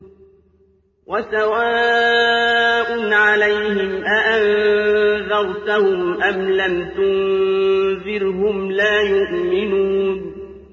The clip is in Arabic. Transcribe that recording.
وَسَوَاءٌ عَلَيْهِمْ أَأَنذَرْتَهُمْ أَمْ لَمْ تُنذِرْهُمْ لَا يُؤْمِنُونَ